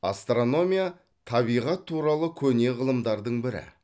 астрономия табиғат туралы көне ғылымдардың бірі